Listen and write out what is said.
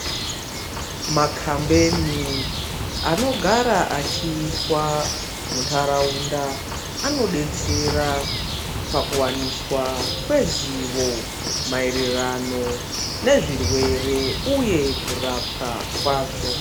Makambeni anogara achiitwa muntaraunda anobetsera pakuvaniswa kwezivo maererano nezvirwere, uye kurapwa kwazvo.